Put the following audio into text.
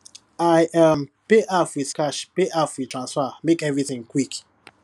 i um pay half with cash half with transfer make everything quick